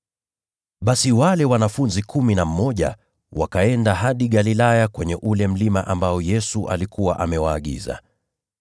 Basi wale wanafunzi kumi na mmoja wakaenda hadi Galilaya kwenye ule mlima ambao Yesu alikuwa amewaagiza.